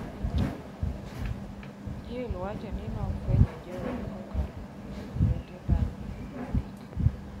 Jill wacho ni nofwenyo Joe kokalo kuom owete bang’ higni adek.